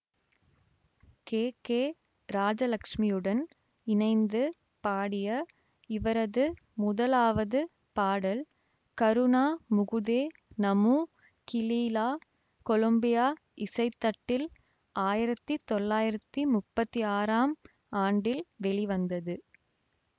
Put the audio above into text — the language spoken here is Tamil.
கே கே ராஜலட்சுமியுடன் இணைந்து பாடிய இவரது முதலாவது பாடல் கருணா முகுதே நமு கிலீலா கொலம்பியா இசைத்தட்டில் ஆயிரத்தி தொள்ளாயிரத்தி முப்பத்தி ஆறாம் ஆண்டில் வெளிவந்தது